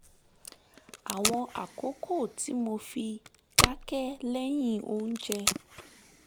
àwọn àkókò tí mo fi dákẹ́ lẹ́yìn oúnjẹ